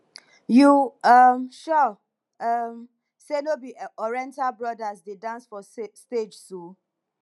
you um sure um say no be oriental brothers dey dance for stage so